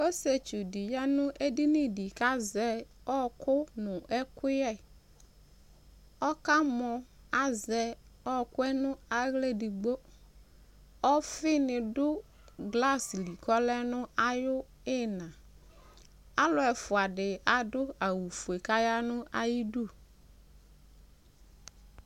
Ɔsɩetsu dɩ ya nʋ edini dɩ kʋ azɛ ɔɣɔkʋ nʋ ɛkʋyɛ, ɔkamɔ, azɛ ɔɣɔkʋ yɛ nʋ aɣla edigbo, ɔfɩnɩ dʋ glasɩ li kʋ ɔlɛ nʋ ayʋ ɩɣɩna, alʋ ɛfʋa dɩ adʋ awʋ fue dɩ kaya nʋ ayʋ idu